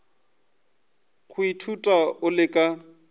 go ithuta o le ka